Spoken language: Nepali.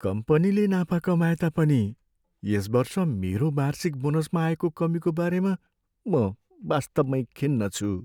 कम्पनीले नाफा कमाएता पनि यस वर्ष मेरो वार्षिक बोनसमा आएको कमीको बारेमा म वास्तवमै खिन्न छु।